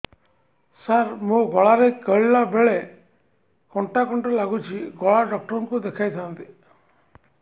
ସାର ମୋ ଗଳା ରେ ଗିଳିଲା ବେଲେ କଣ୍ଟା କଣ୍ଟା ଲାଗୁଛି ଗଳା ଡକ୍ଟର କୁ ଦେଖାଇ ଥାନ୍ତି